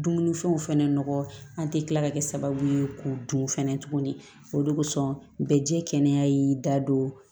Dumunifɛnw fɛnɛ nɔgɔ an tɛ kila ka kɛ sababu ye k'o dun fɛnɛ tuguni o de kosɔn bɛ jɛ kɛnɛya y'i da don